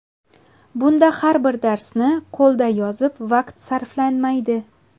Bunda har bir darsni qo‘lda yozib vaqt sarflanmaydi.